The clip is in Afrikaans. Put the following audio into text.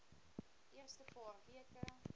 eerste paar weke